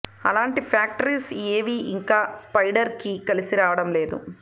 అలాంటి ఫ్యాక్టర్స్ ఏవీ ఇంకా స్పైడర్కి కలిసి రావడం లేదు